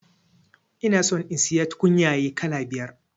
Ina son in siya tukunyaye kala biyar